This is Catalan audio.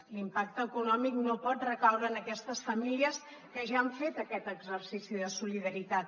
l’impacte econòmic no pot recaure en aquestes famílies que ja han fet aquest exercici de solidaritat